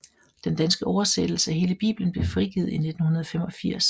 Den danske oversættelse af hele Bibelen blev frigivet i 1985